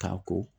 Ka ko